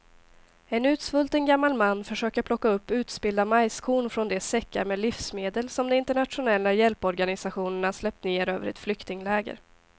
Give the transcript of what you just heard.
En utsvulten gammal man försöker plocka upp utspillda majskorn från de säckar med livsmedel som de internationella hjälporganisationerna släppt ner över ett flyktingläger.